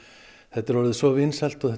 þetta er orðið svo vinsælt og